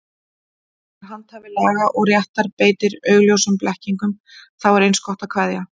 Þegar handhafi laga og réttar beitir augljósum blekkingum, þá er eins gott að kveðja.